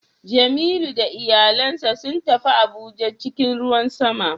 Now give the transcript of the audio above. Jemilu da iyalansa sun tafi Abuja cikin ruwan sama